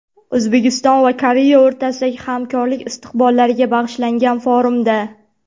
O‘zbekiston va Koreya o‘rtasidagi hamkorlik istiqbollariga bag‘ishlangan forumda.